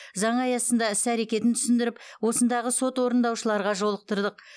заң аясында іс әрекетін түсіндіріп осындағы сот орындаушыларға жолықтырдық